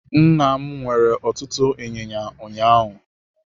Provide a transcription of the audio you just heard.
Nna m nwere ọtụtụ inyinya ụnyaahụ.